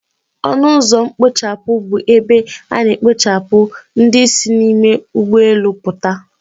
Ọnụ ụzọ mkpochapụ bụ ebe a na-ekpochapụ ndị si n'ime ụgbọelu puta